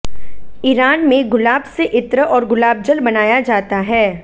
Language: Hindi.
ईरान में गुलाब से इत्र और गुलाबजल बनाया जाता है